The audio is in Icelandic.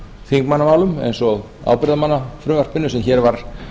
þingmannamálum eins og ábyrgðarmannafrumvarpinu sem hér var